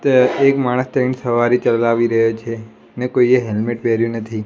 ત્યા એક માણસ તેન સવારી ચલાવી રહ્યો છે ને કોઈએ હેલ્મેટ પેર્યુ નથી.